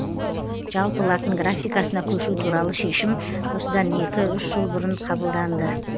жалпы латын графикасына көшу туралы шешім осыдан екі үш жыл бұрын қабылданды